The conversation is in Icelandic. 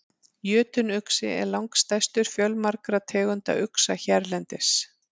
Jötunuxi er langstærstur fjölmargra tegunda uxa hérlendis.